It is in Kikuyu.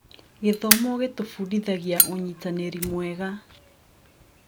Gĩthomo gĩtũbundithagia ũnyitanĩri mwega.